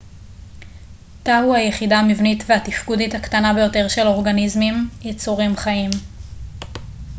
תא הוא היחידה המבנית והתפקודית הקטנה ביותר של אורגניזמים יצורים חיים